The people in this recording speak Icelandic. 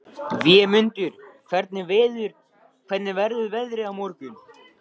Vémundur, hvernig verður veðrið á morgun?